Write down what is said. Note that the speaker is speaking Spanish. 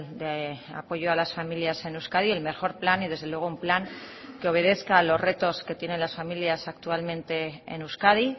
de apoyo a las familias en euskadi el mejor plan y desde luego un plan que obedezca a los retos que tienen las familias actualmente en euskadi